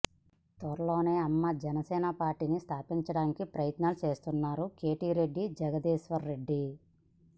త్వరలోనే అమ్మ జనసేన పార్టీని స్థాపించడానికి ప్రయత్నాలు చేస్తున్నారు కేతిరెడ్డి జగదీశ్వర్ రెడ్డి